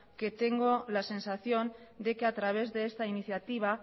que tengo la sensación de que a través de esta iniciativa